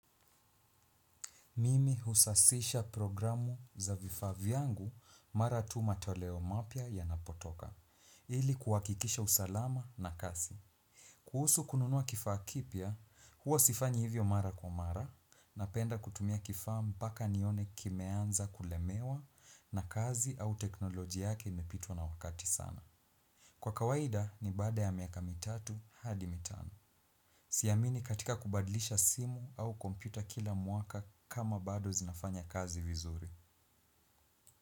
Mimi husasisha programu za vifaa vyangu mara tu matoleo mapya yanapotoka ili kuhakikisha usalama na kazi. Kuhusu kununua kifaa kipya, huwa sifanyi hivyo mara kwa mara, napenda kutumia kifaa mpaka nione kimeanza kulemewa na kazi au teknolojia yake imepitwa na wakati sana. Kwa kawaida, ni baada ya miaka mitatu, hadi mitano. Siamini katika kubadlisha simu au kompyuta kila mwaka kama bado zinafanya kazi vizuri.